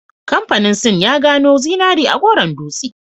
Kamfanin sin ya gano zinari a Goron Dutse